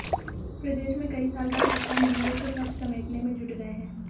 प्रदेश में कई साल बाद सत्ता मिली है तो सब समेटने में जुट गए हैं